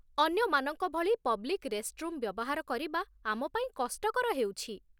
ଅନ୍ୟମାନଙ୍କ ଭଳି public restroom ବ୍ୟବହାର କରିବା ଆମ ପାଇଁ କଷ୍ଟକର ହେଉଛି ।